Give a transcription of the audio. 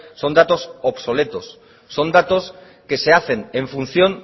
son datos obsoletos son datos que se hacen en función